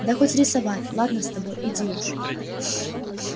да хоть рисовать ладно с тобой иди уж